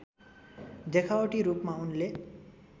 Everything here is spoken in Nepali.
देखावटी रूपमा उनले